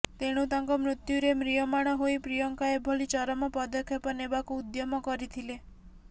ତେଣୁ ତାଙ୍କ ମୃତ୍ୟୁରେ ମ୍ରିୟମାଣ ହୋଇ ପ୍ରିୟଙ୍କା ଏଭଳି ଚରମ ପଦକ୍ଷେପ ନେବାକୁ ଉଦ୍ୟମ କରିଥିଲେ